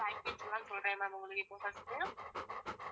package எல்லாம் சொல்றேன் ma'am உங்களுக்கு இப்போ first உ